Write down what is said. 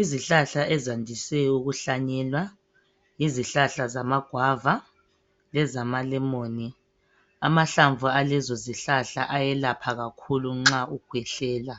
izihlahla ezandise ukuhlanyelwa yizihlahla zama guava lezamalemon amahlamvu alezo zihlahla ayelapha kakhulu nxa ukhwehlela